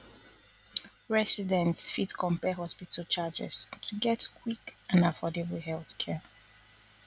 residents fit compare hospital charges to get quick and affordable healthcare